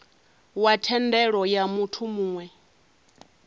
wa thendelo ya muthu muwe